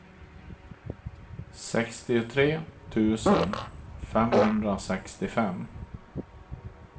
sextiotre tusen femhundrasextiofem